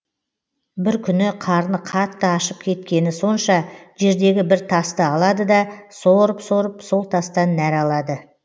бір күні қарны қатты ашып кеткені сонша жердегі бір тасты алады да сорып сорып сол тастан нәр алады